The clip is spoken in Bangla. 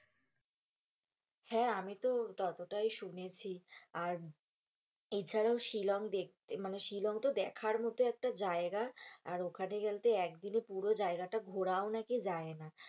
হেঁ, আমি তো ততটাই শুনেছি আর এছাড়া শিলং দেখতে মানে শিলং তো দেখার মতো একটা জায়গা, আর ওখানে গেলে একদিনে পুরো জায়গা তা ঘুরাও নাকি যাই না,